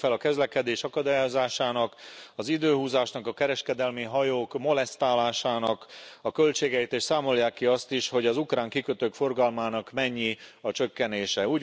Mérjék fel a közlekedés akadályozásának, az időhúzásnak, a kereskedelmi hajók molesztálásának a költségeit, és számolják ki azt is, hogy az ukrán kikötők forgalmának mennyi a csökkenése.